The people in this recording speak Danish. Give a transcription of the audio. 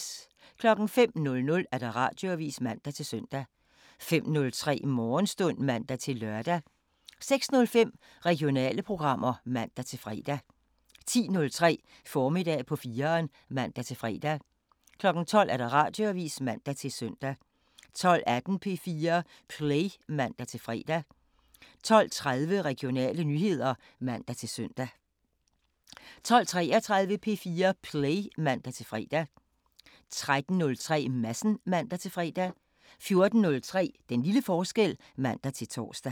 05:00: Radioavisen (man-søn) 05:03: Morgenstund (man-lør) 06:05: Regionale programmer (man-fre) 10:03: Formiddag på 4'eren (man-fre) 12:00: Radioavisen (man-søn) 12:18: P4 Play (man-fre) 12:30: Regionale nyheder (man-søn) 12:33: P4 Play (man-fre) 13:03: Madsen (man-fre) 14:03: Den lille forskel (man-tor)